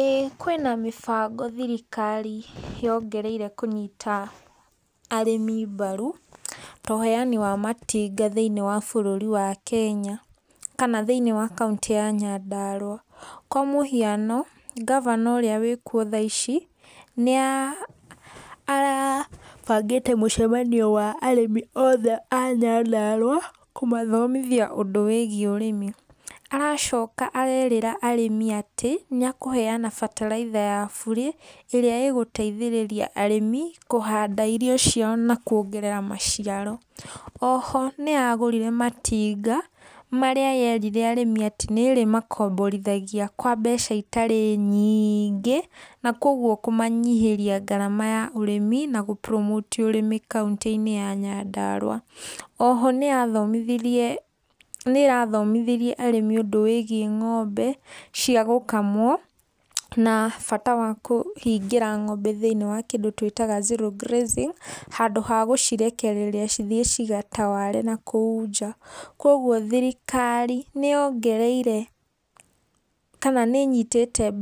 ĩ kwĩ na mibango thirikari yongereire kũnyita arĩmi mbaru, toheani wa matinga thĩiniĩ wa bururi wa Kenya. Kana thĩiniĩ wa kauntĩ ya nyandarua kwa mũhiano governor ũrĩa wĩkuo thaa ici nĩ arabangĩte mũcemanio wa arĩmi othe a nyandarua , kũmathomithia wĩgiĩ ũrĩmi, aracoka arerĩra arĩmi atĩ nĩekũhena bataraitha ya burĩ ĩrĩa ĩgũteithĩrĩria arĩmi kũhanda ĩrio ciao na kũongerera maciaro. Oho nĩya gũrire matinga marĩa yerire arĩmi atĩ nĩrĩ makomborithagia kwa mbeca citarĩ nyingĩ na kogũo kũmanyihĩria ngarama ya ũrĩmi na gũ promote ũrĩmi kauntĩ- inĩ ya Nyandarua. Oho nĩyathomithirie, nĩyathomithirie arĩmi ũndũ wĩgiĩ ng'ombe cia gũkamwo na bata wa kũhingĩra ng'ombe kindũ twitaga zero grazing handũ ha gucirekereria cithiĩ cigetaware na kũu nja, kogũo thirikari niyongereire kana nĩnyitĩte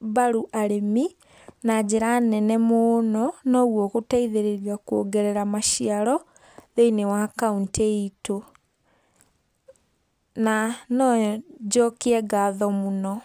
mbaru arĩmi na njĩra nene mũno, na ũguo gũteithĩrĩria kuongerera maciaro thĩiniĩ wa kauntĩ itũ na no njokie ngatho mũno.